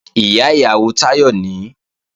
Ìyá ìyàwó Táyọ̀ nìí